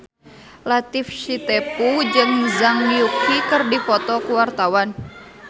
Latief Sitepu jeung Zhang Yuqi keur dipoto ku wartawan